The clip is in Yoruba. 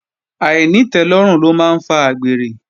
Àìnítẹ́lọ́rùn ló máa ń fa àgbèrè